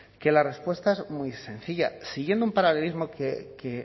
que la respuesta es muy sencilla siguiendo un paralelismo que